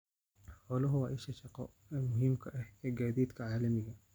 Xooluhu waa isha shaqo ee muhiimka ah ee gaadiidka caalamiga ah.